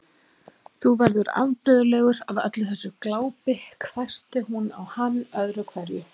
Þú verður afbrigðilegur af öllu þessu glápi hvæsti hún á hann öðru hverju.